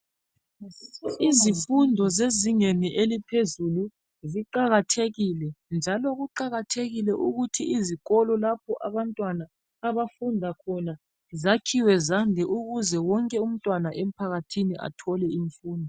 Izifundo zezingeni eliphezulu ziqakathekile njalo kuqakathekile ukuthi izikolo lapha abantwana abafunda khona zakhiwe zande ukuze wonke umntwana emphakathini athole imfundo.